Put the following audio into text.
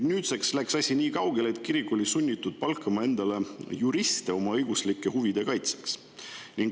Nüüdseks on asi läinud nii kaugele, et kirik on olnud sunnitud palkama endale juriste oma õiguslike huvide kaitseks.